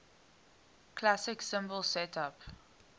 classic cymbal setup